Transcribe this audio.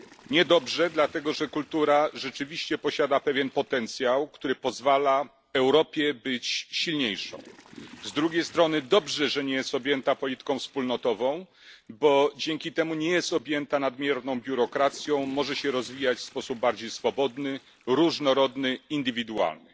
Niedobrze, dlatego że kultura rzeczywiście posiada pewien potencjał, który pozwala Europie być silniejszą, z drugiej strony dobrze, że nie jest objęta polityką wspólnotową, bo dzięki temu nie jest objęta nadmierną biurokracją, może się rozwijać w sposób bardziej swobodny, różnorodny, indywidualny.